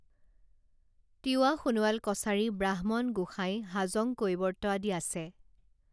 তিৱা সোণোৱাল কছাৰী ব্ৰাহ্মণ গোসাঁই হাজং কৈৱৰ্ত আদি আছে